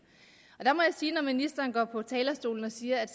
ministeren går på talerstolen og siger at